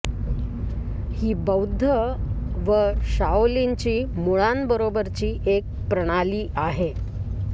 ही बौद्ध व शाओलिनची मुळांबरोबरची एक प्रणाली आहे